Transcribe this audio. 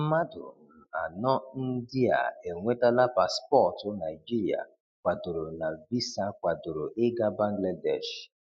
Mmadụ um anọ ndị a enwetala paspọtụ Naịjirịa kwadoro na visa kwadoro ịga Bangladesh.